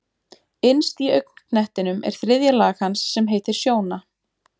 Innst í augnknettinum er þriðja lag hans sem heitir sjóna.